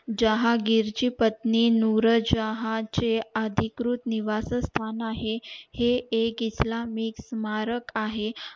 जहागीर ची पत्नी नूरज शाह चे अधिकृत निवास स्थान आहे हे एक इस्लामी साम्राक आहे